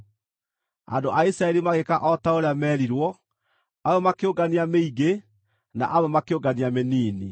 Andũ a Isiraeli magĩĩka o ta ũrĩa meerirwo; amwe makĩũngania mĩingĩ, na amwe makĩũngania mĩnini.